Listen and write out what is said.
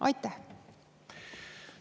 Aitäh!